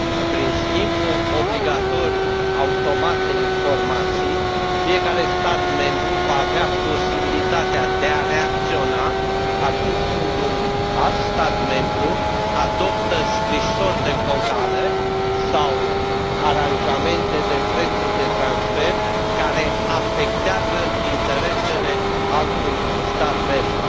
Prin schimbul obligatoriu automat de informații fiecare stat membru va avea posibilitatea de a reacționa atunci când un alt stat membru adoptă scrisori de confort fiscale sau aranjamente de prețuri de transfer care afectează interesele altui stat membru.